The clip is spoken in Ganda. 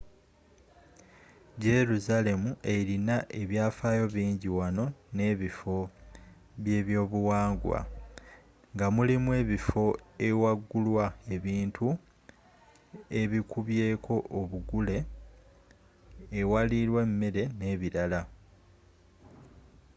jerusalemi erina ebyafaayo bingi wamu nebifo byebyobuwangwa ngamulimu ebifo ewagulwa ebintu ebikubyeko obugule ewalirwa emmere nebirala